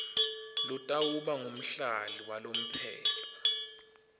lotawuba ngumhlali walomphelo